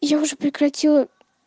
я уже прекратила